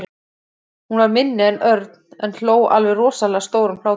Hún var minni en Örn en hló alveg rosalega stórum hlátri.